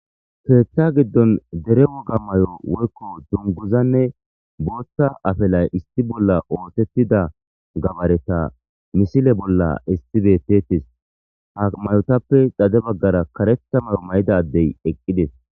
keeththa giddon dere woga mayo woykko dunguzanne booththa afelay isti bolla ootettida gabareta misile bolla istibetetis ha mayotappe dade baggara karetha mayo may7ida ddey eqqides